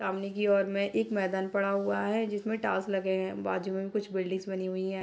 सामने की ओर में एक मैदान पड़ा हुआ है जिसमें टाइल्स लगे हैं बाजु में कुछ बिल्डिंग बनी हुई है।